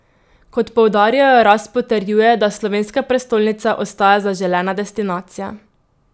Kot poudarjajo, rast potrjuje, da slovenska prestolnica ostaja zaželena destinacija.